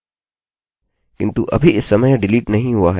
किन्तु अभी इस समय यह डिलीट नहीं हुआ है